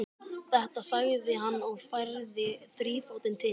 Þetta, sagði hann og færði þrífótinn til.